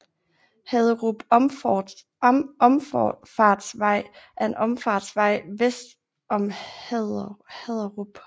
Haderup Omfartsvej er en omfartsvej vest om Haderup